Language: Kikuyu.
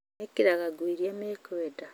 Mekĩraga nguo irĩa mekwenda